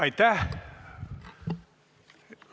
Aitäh!